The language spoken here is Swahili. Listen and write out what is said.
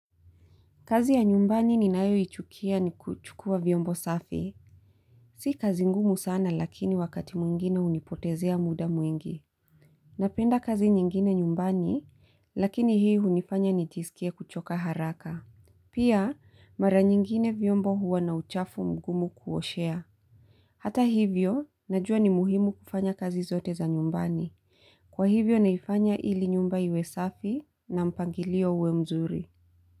Kazi ya nyumbani ninayo ichukia ni kuchukua vyombo safi. Si kazi ngumu sana lakini wakati mwingine hunipotezea muda mwingi. Napenda kazi nyingine nyumbani lakini hii hunifanya nijisikie kuchoka haraka. Pia mara nyingine vyombo huwa na uchafu mgumu kuoshea. Hata hivyo, najua ni muhimu kufanya kazi zote za nyumbani. Kwa hivyo naifanya ili nyumba iwe safi na mpangilio uwe mzuri.